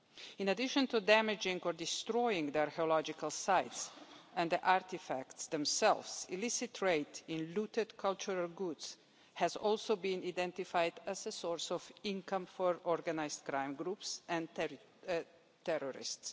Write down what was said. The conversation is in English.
In addition to damaging or destroying the archaeological sites and the artefacts themselves, illicit trade in looted cultural goods has also been identified as a source of income for organised crime groups and terrorists.